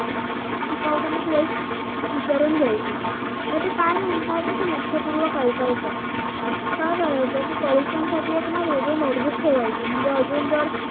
शिकवताना तो एक विचारून घ्यायची आणि ते काय म्हणताय ना ते लक्षपूर्वक ऐकायच काय करायचं कि परीक्षांसाठी ना एक वेगळी notebook ठेवायची म्हणजे अजून जर